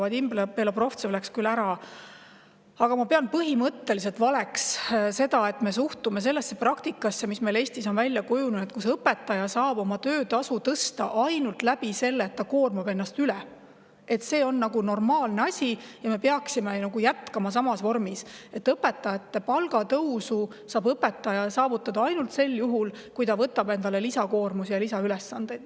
Vadim Belobrovtsev läks küll ära, aga ma pean põhimõtteliselt valeks seda, et me sellesse praktikasse, mis meil on Eestis välja kujunenud, kus õpetaja saab oma töötasu tõsta ainult sel viisil, et ta koormab ennast üle, suhtume kui normaalsesse asja ja me peaksime jätkama samas vormis, et õpetajal on võimalik saada palgatõusu ainult siis, kui ta võtab endale lisakoormusi ja lisaülesandeid.